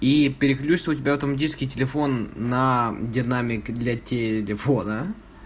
и переключится у тебя автоматически телефон на динамик для телефона